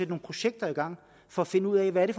projekter i gang for at finde ud af hvad det